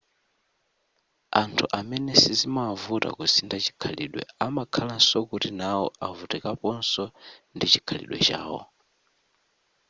anthu amene sizimawavuta kusintha chikhalidwe amakhalanso kuti nawo avutikaponso ndi chikhalidwe chawo